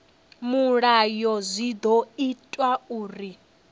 mulayo zwi ḓo ita uri